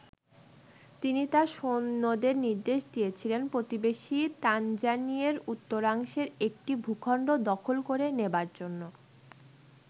তিনি তার সৈন্যদের নির্দেশ দিয়েছিলেন, প্রতিবেশী তানজানিয়ের উত্তরাংশের একটি ভূখন্ড দখল করে নেবার জন্য।